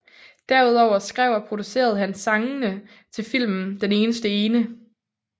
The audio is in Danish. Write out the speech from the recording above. Derudover skrev og producerede han sangene til filmen Den eneste ene